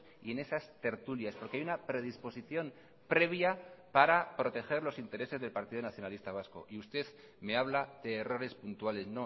y en esas tertulias porque hay una predisposición previa para proteger los intereses del partido nacionalista vasco y usted me habla de errores puntuales